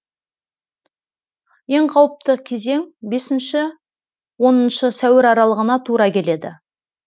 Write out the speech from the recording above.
ең қауіпті кезең бесінші оныншы сәуір аралығына тура келеді